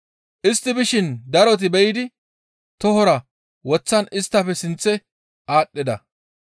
Istti bishin daroti be7idi tohora woththan isttafe sinththe aadhdhida.